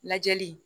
Lajɛli